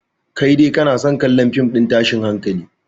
Kai dai kana son kallon fim ɗin tashin hankali